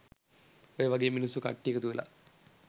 ඔය වගේ මිනිස්සු කට්ටිය එකතු වෙලා